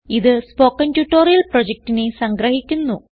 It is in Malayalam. ഇതു സ്പോകെൻ ട്യൂട്ടോറിയൽ പ്രൊജക്റ്റിനെ സംഗ്രഹിക്കുന്നു